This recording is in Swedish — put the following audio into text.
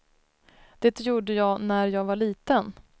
Det gjorde jag när jag var liten.